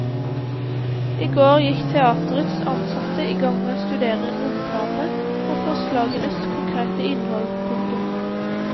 I går gikk teaterets ansatte i gang med å studere romplanene og forslagenes konkrete innhold. punktum